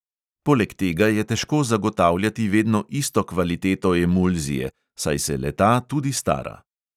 Poleg tega je težko zagotavljati vedno isto kvaliteto emulzije, saj se le-ta tudi stara.